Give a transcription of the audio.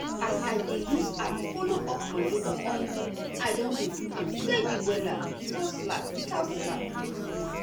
as i dey use app follow up my yoga omo i don dey do am steady um without slack. without slack.